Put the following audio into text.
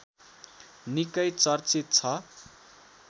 निकै चर्चित छ।